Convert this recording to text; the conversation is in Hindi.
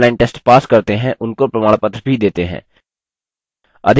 जो online test pass करते हैं उनको प्रमाणपत्र भी देते हैं